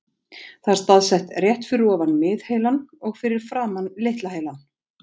Það er staðsett rétt fyrir ofan miðheilann og fyrir framan litla heilann.